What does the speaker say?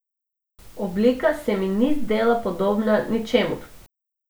Oblika se mi ni zdela podobna ničemur.